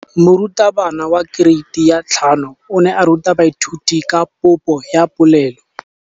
Moratabana wa kereiti ya 5 o ne a ruta baithuti ka popô ya polelô.